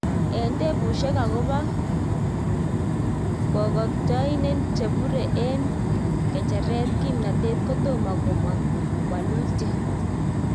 Eng tepushek akopa kotkotiyen chepure en kecheret kimnatet kotoma komang welutyet